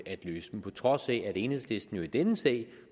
at løse dem på trods af at enhedslisten jo i denne sag